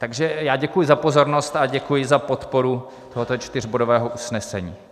Takže já děkuji za pozornost a děkuji za podporu tohoto čtyřbodového usnesení.